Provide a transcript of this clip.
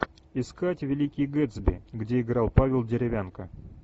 искать великий гэтсби где играл павел деревянко